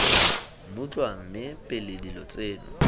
mmutlwa mme pele dilo tseno